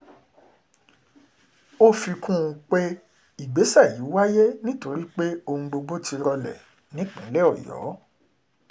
ó fi kún un pé ìgbésẹ̀ yìí wáyé nítorí pé ohun gbogbo ti rọlẹ̀ nípìnlẹ̀ ọ̀yọ́